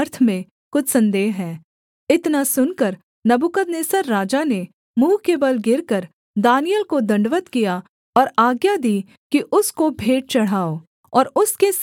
इतना सुनकर नबूकदनेस्सर राजा ने मुँह के बल गिरकर दानिय्येल को दण्डवत् किया और आज्ञा दी कि उसको भेंट चढ़ाओ और उसके सामने सुगन्ध वस्तु जलाओ